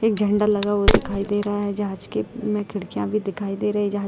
एक झंडा लगा हुआ दिखायी दे रहा है जहाज के में खिड़कियाँ भी दिखाई दे रही है जहाज --